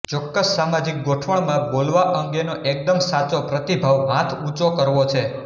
ચોક્કસ સામાજિક ગોઠવણમાં બોલવા અંગેનો એકદમ સાચો પ્રતિભાવ હાથ ઊંચો કરવો છે